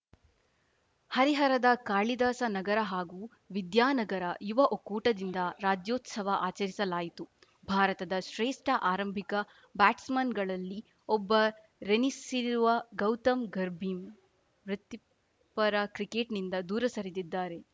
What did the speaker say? ಹರಿಹರದ ಕಾಳಿದಾಸ ನಗರ ಹಾಗೂ ವಿದ್ಯಾನಗರ ಯುವ ಒಕ್ಕೂಟದಿಂದ ರಾಜ್ಯೋತ್ಸವ ಆಚರಿಸಲಾಯಿತು ಭಾರತದ ಶ್ರೇಷ್ಠ ಆರಂಭಿಕ ಬ್ಯಾಟ್ಸ್‌ಮನ್‌ಗಳಲ್ಲಿ ಒಬ್ಬರೆನಿಸಿರುವ ಗೌತಮ್‌ ಗರ್ಭಿಮ್ ವೃತ್ತಿಪರ ಕ್ರಿಕೆಟ್‌ನಿಂದ ದೂರ ಸರಿದಿದ್ದಾರೆ